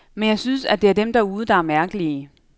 Men jeg synes, at det er dem derude, der er mærkelige.